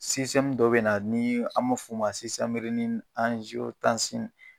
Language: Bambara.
dɔ be na ni an ma f'o ma